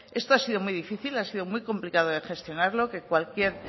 esto ha sido muy difícil ha sido muy complicado de gestionarlo que cualquier